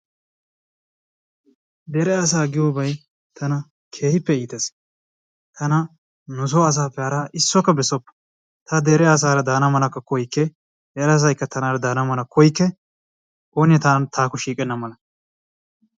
Dere asaa giyoobay tana keehippe iittees. tana nu asappe hara isuwakka beessopite! ta dere asaara daana malakka koyyike, dere asaykka tanaara dana mala koyyikke, oone taakko shiiqena mala.